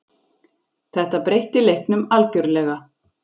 Þetta breytti leiknum algjörlega.